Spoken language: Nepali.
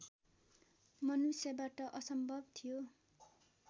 मनुष्यबाट असम्भव थियो